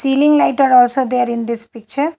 Ceiling light are also there in this picture.